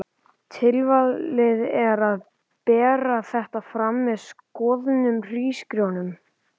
Tilvalið er að bera þetta fram með soðnum hrísgrjón um.